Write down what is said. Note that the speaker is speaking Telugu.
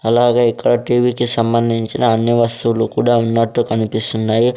అలాగే ఇక్కడ టీవీ కి సంబందించిన అన్ని వస్తువులు కూడా ఉన్నట్టు కనిపిస్తున్నాయి.